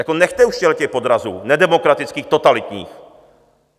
Jako nechte už těchhle podrazů, nedemokratických, totalitních.